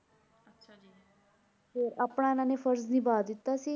ਫਿਰ ਆਪਣਾ ਇਹਨਾਂ ਨੇ ਫ਼ਰਜ਼ ਨਿਭਾ ਦਿੱਤਾ ਸੀ।